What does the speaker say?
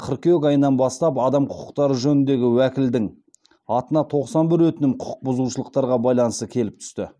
қыркүйек айынан бастап адам құқықтары жөніндегі уәкілдің атына тоқсан бір өтінім құқықбұзушылықтарға байланысты келіп түсті